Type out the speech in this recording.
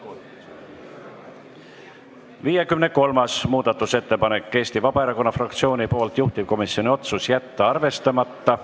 53. muudatusettepanek on Eesti Vabaerakonna fraktsioonilt, juhtivkomisjoni otsus: jätta arvestamata.